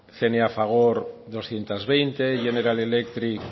cna fagor doscientos veinte general electric